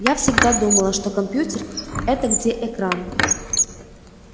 я всегда думала что компьютер это где экран